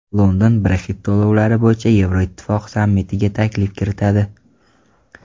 London Brexit to‘lovlari bo‘yicha Yevroittifoq sammitiga taklif kiritadi.